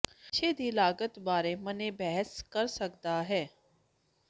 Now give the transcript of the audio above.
ਨਸ਼ੇ ਦੀ ਲਾਗਤ ਬਾਰੇ ਮੰਨੇ ਬਹਿਸ ਕਰ ਸਕਦਾ ਹੈ